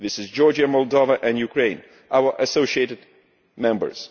These are Georgia, Moldova and Ukraine, our associated members.